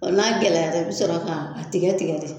Ɔ n'a gɛlɛya i bi sɔrɔ k'a tigɛ tigɛ de